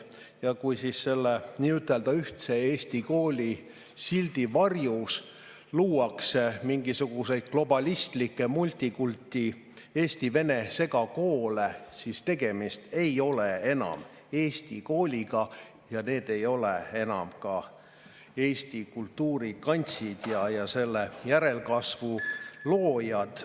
Ja kui selle nii-ütelda ühtse Eesti kooli sildi varjus luuakse mingisuguseid globalistlikke multikulti eesti-vene segakoole, siis tegemist ei ole enam eesti kooliga ja need ei ole enam eesti kultuuri kantsid ja selle järelkasvu loojad.